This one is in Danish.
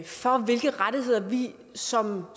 for hvilke rettigheder vi som